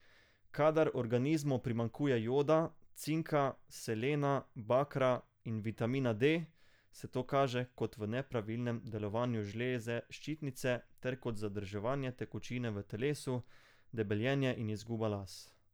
Kadar organizmu primanjkuje joda, cinka, selena, bakra in vitamina D, se to kaže kot v nepravilnem delovanju žleze ščitnice ter kot zadrževanje tekočine v telesu, debeljenje in izguba las.